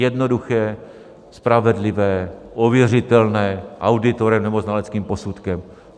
Jednoduché, spravedlivé, ověřitelné auditorem nebo znaleckým posudkem.